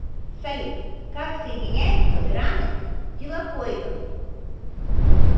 салют как соединяются граны тилакоидов